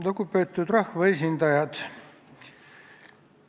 Lugupeetud rahvaesindajad!